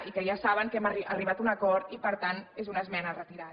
i que ja saben que hem arribat a un acord i per tant és una esmena retirada